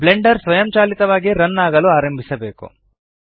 Blender ಸ್ವಯಂಚಾಲಿತವಾಗಿ run ಆಗಲು ಆರಂಭಿಸಬೇಕು